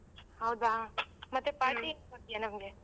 ಹೌದಾ ಮತ್ತೆ party ಏನ್ ಕೊಡ್ತೀಯಾ ನಮ್ಗೆ .